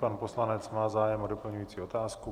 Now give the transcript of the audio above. Pan poslanec má zájem o doplňující otázku.